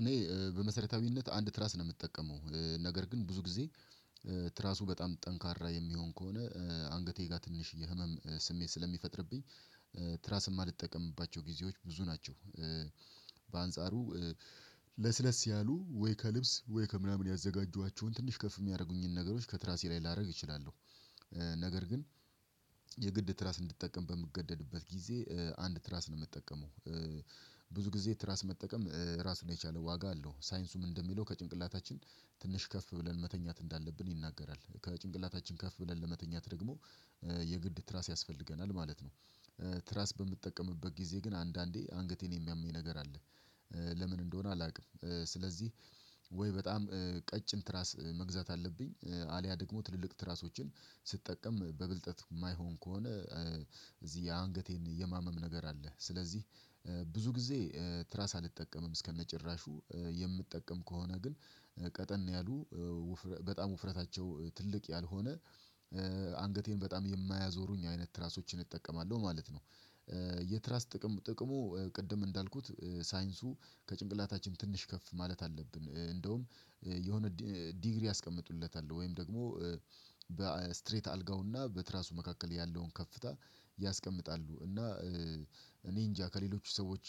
እኔ በመሰረታዊነት አንድ ትራስ ነው የምጠቀመው ነገር ግን ብዙ ጊዜ ትራሱ በጣም ጠንካራ የሚሆን ከሆነ አንገቴ ጋር ትንሽዬ ህመም ስሜት ስለሚፈጥርብኝ ትራስም አልጠቀምባቸው ጊዜዎች ብዙ ናቸው። በአንጻሩ ለስለስ ያሉ ወይ ከልብስ ወይ ከምናምን ያዘጋጇኋቸውን ትንሽ ከፍ የሚያደርጉኝን ነገሮች ከትራሴ ላይ ላደርግ እችላለሁ። ነገር ግን የግድ ትራስ እንድጠቀም በምገደድበት ጊዜ አንድ ትራስ ነው ምጠቀመው። ብዙ ጊዜ ትራስ መጠቀም ራስ ነው የቻለ ዋጋ አለው ሳይንሱም እንደሚለው ከጭንቅላታችን ትንሽ ከፍ ብለን መተኛት እንዳለብን ይናገራል ከጭንቅላታችን ከፍ ብለን ለመተኛት ደግሞ የግድ ትራስ ያስፈልገናል ማለት ነው። ትራስ በምጠቀምበት ጊዜ ግን አንዳንዴ አንገቴን የሚያመኝ ነገር አለ። ለምን እንደሆነ አላውቅም። ስለዚህ ወይ በጣም ቀጭን ትራስ መግዛት አለብኝ አልያ ደግሞ ትልልቅ ትራሶችን ስጠቀም በብልጠት የማይሆን ከሆነ። እዚህ የአንገቴን የማመም ነገር አለ ስለዚህ ብዙ ጊዜ ትራስ አልጠቀምም። እስከነጭራሹ የምትጠቀም ከሆነ ግን ቀጠን ያሉ በጣም ውፍረታቸው ትልቅ ያልሆነ አንገቴን በጣም የማያዞሩኝ አይነት ትራሶችን እጠቀማለሁ ማለት ነው። የትራስ ጥቅም ጥቅሙ ቅድም እንዳልኩት ሳይንሱ ከጭንቅላታችን ትንሽ ከፍ ማለት አለብን እንደውም የሆነ ዲግሪ ያስቀምጡለታል ወይም ደግሞ በስትሬት አልጋውና በትራሱ መካከል ያለውን ከፍታ ያስቀምጣሉ እና። እኔ እንጃ ከሌሎቹ ሰዎች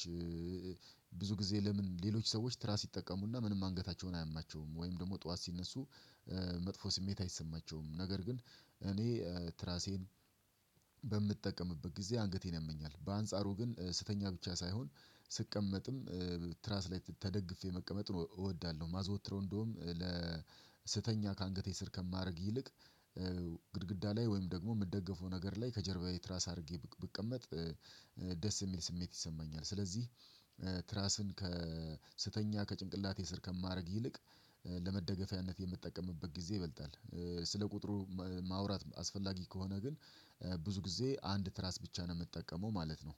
ብዙ ጊዜ ለምን ሌሎች ሰዎች ትራስ ይጠቀሙና ምንም አንገታቸውን አያማቸውም ወይም ደግሞ ጠዋት ሲነሱ መጥፎ ስሜት አይሰማቸውም? ነገር ግን እኔ ትራሴን በምጠቀምበት ጊዜ አንገቴን ያመኛል። በአንጻሩ ግን ስተኛ ብቻ ሳይሆን ስቀመጥም ትራስ ላይ ተደግፌ መቀመጥ ነው እወዳለሁ ማዘወትረው እንደውም ለስተኛ ከአንገቴ ስር ከማረግ ይልቅ ግድግዳ ላይ ወይም ደግሞ የምትደግፈው ነገር ላይ ከጀርባዬ ትራስ አድርጌ ብቀመጥ ደስ የሚል ስሜት ይሰማኛል። ስለዚህ ትራስን ከስተኛ ከጭንቅላቴ ስር ከማድረግ ይልቅ ለመደገፊያነት የምጠቀምበት ጊዜ ይበልጣል። ስለ ቁጥሩ ማውራት አስፈላጊ ከሆነ ግን ብዙ ጊዜ አንድ ትራስ ብቻ ነው ምጠቀመው ማለት ነው።